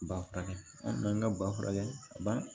Ba furakɛ ka ba furakɛ ka ban